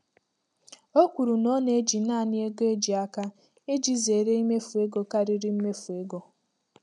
O kwuru na ọ na-eji naanị ego eji aka iji zere imefu ego karịrị mmefu ego.